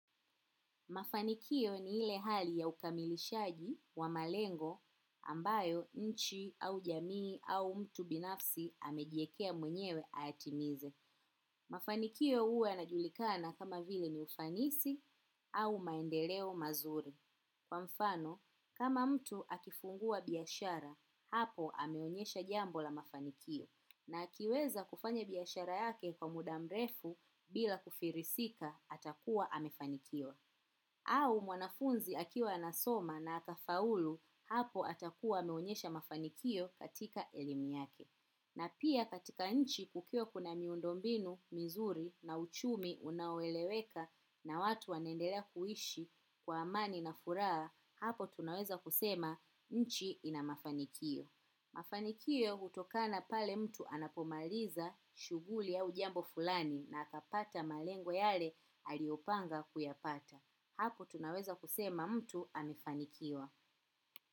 Mafanikio ni ile hali ya ukamilishaji wa malengo ambayo nchi au jamii au mtu binafsi amejiekea mwenyewe atimize. Mafanikio huwa yanajulikana kama vile ni ufanisi au maendeleo mazuri. Kwa mfano, kama mtu akifungua biashara, hapo ameonyesha jambo la mafanikio. Na akiweza kufanya biashara yake kwa muda mrefu bila kufirisika atakuwa amefanikiwa. Au mwanafunzi akiwa anasoma na akafaulu hapo atakuwa ameonyesha mafanikio katika elimu yake. Na pia katika nchi kukiwa kuna miundombinu, mizuri na uchumi unaoeleweka na watu wanaendela kuhishi kwa amani na furaha hapo tunaweza kusema nchi ina mafanikio. Mafankio hutokana pale mtu anapomaliza shuguli au jambo fulani na akapata malengo yale aliyopanga kuyapata hapo tunaweza kusema mtu amefanikiwa.